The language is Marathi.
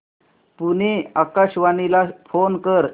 पुणे आकाशवाणीला फोन कर